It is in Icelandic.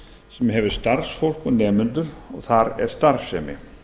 sem hefur starfsfólk og nemendur og þar er starfsemi